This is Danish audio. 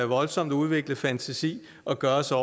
voldsomt udviklet fantasi at gøre sig